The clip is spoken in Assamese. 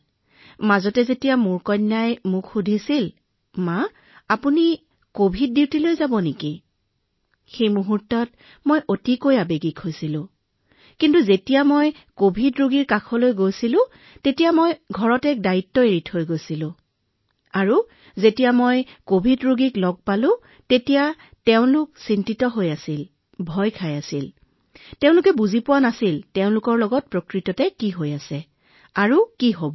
ইয়াৰ মাজতে যেতিয়া মোৰ ছোৱালীয়ে মোক সুধিছিল মা আপুনি কভিড ডিউটিলৈ যাব সেই সময়ত মোৰ বাবে এয়া যথেষ্ট আৱেগিক মুহূৰ্ত আছিল কিন্তু যেতিয়া মই কভিড ৰোগীৰ ওচৰলৈ গৈছিলো মই ঘৰত এটা দায়িত্ব এৰি আহিছিলো আৰু যেতিয়া মই কভিড ৰোগীসকলৰ কাষলৈ গলো তেওঁলোক বহু বেছি উদ্বিগ্ন হৈ আছিল সকলো ৰোগী কভিডৰ নামত ইমান ভয় খাইছিল যে তেওঁলোকে বুজি পোৱা নাছিল যে তেওঁলোকৰ কি হৈছে পৰৱৰ্তী সময়ত তেওঁলোকে কি কৰিব